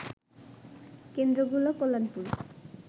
কেন্দ্র গুলো কল্যাণপুর